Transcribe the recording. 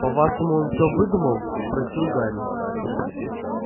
по-вашему он все выдумал спросил гарри